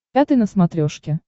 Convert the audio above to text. пятый на смотрешке